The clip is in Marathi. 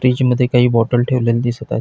फ्रीज मध्ये काही बॉटल ठेवलेल्या दिसत आहेत.